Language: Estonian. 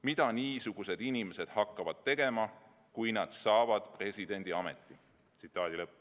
Mida niisugused inimesed hakkavad tegema, kui nad saavad presidendiameti?